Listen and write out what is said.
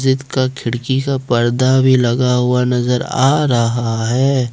इसका खिड़की का पर्दा भी लगा हुआ नजर आ रहा है।